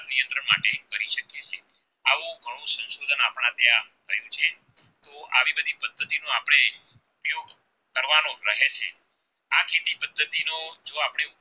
ને પદ્ધતિ નો જો આપણે